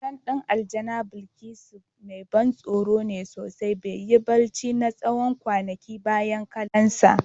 Wassan din Aljana Bilkisu mai ban tsoro ne sosai, ban yi barci na tsawon kwanaki bayan kallonsa.